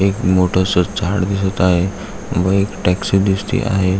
एक मोठस झाड दिसत आहे व एक टॅक्सी दिसती आहे.